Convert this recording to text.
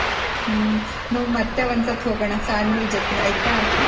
ಹ್ಮ್ ನಾವ್ ಮತ್ತೆ ಒಂಸರ್ತಿ ಹೋಗೋಣ family ಜೊತೆ ಆಯ್ತ.